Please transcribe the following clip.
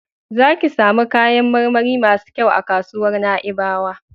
Za ki samu kayan marmari masu kyau a kasuwar Na'ibawa.